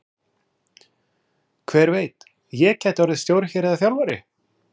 Hver veit, ég gæti orðið stjóri hér eða þjálfari?